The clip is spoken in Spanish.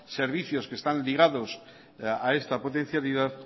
servicios que están ligados a esta potencialidad